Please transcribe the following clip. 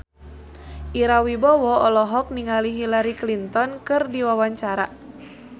Ira Wibowo olohok ningali Hillary Clinton keur diwawancara